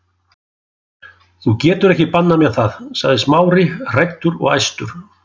Þú getur ekki bannað mér það- sagði Smári, hræddur og æstur.